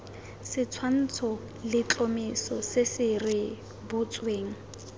setshwantsho letlhomeso se se rebotsweng